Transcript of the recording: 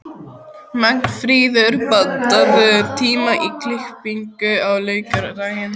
Magnfríður, pantaðu tíma í klippingu á laugardaginn.